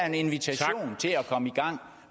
en invitation til at komme i gang